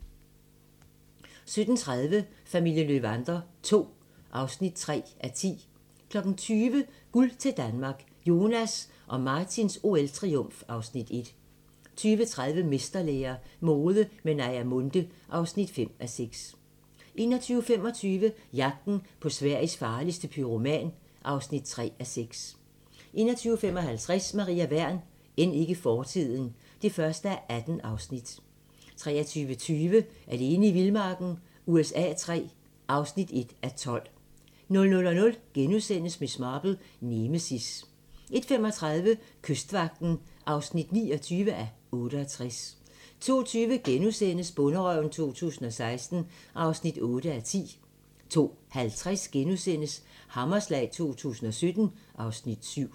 17:30: Familien Löwander II (3:10) 20:00: Guld til Danmark - Jonas og Martins OL-triumf (Afs. 1) 20:30: Mesterlære - mode med Naja Munthe (5:6) 21:25: Jagten på Sveriges farligste pyroman (3:6) 21:55: Maria Wern: End ikke fortiden (1:18) 23:20: Alene i vildmarken USA III (1:12) 00:00: Miss Marple: Nemesis * 01:35: Kystvagten (29:68) 02:20: Bonderøven 2016 (8:10)* 02:50: Hammerslag 2017 (Afs. 7)*